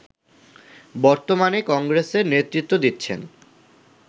বর্তমানে কংগ্রেসের নেতৃত্ব দিচ্ছেন